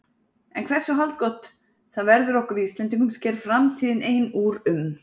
En hversu haldgott það verður okkur Íslendingum sker framtíðin ein úr um.